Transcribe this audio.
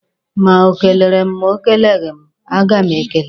Ma o kelere m ma o keleghi m, a ga m ekele ya.